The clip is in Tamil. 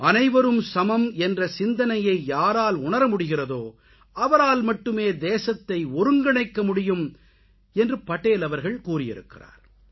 அனைவரும் சமம் என்ற சிந்தனையை யாரால் உணர முடிகிறதோ அவரால் மட்டுமே தேசத்தை ஒருங்கிணைக்க முடியும் என்று படேல் அவர்கள் கூறியிருக்கிறார்